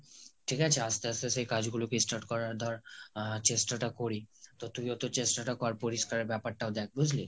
ঠিক আছে আস্তে আস্তে সেই কাজগুলোকে স্টার্ট করার ধর চেষ্টাটা করি। তো তুইওতো চেষ্টাটা কর, পুরস্কার ব্যাপার টা দেখ। বুজলি?